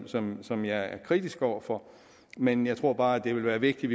som som jeg er kritisk over for men jeg tror bare at det vil være vigtigt